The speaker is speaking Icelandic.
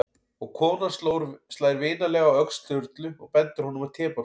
Og konan slær vinalega á öxl Sturlu og bendir honum á tebollann.